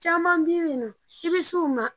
Caman bi bi in na i bɛ s'u ma